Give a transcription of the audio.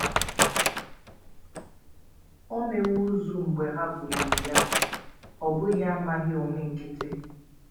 “ O mewo ozu mgbe ha buliri ya, ” ọ bụghị amaghị onwe nkịtị.